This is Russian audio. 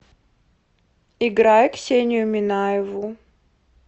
играй ксению минаеву